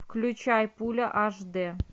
включай пуля аш дэ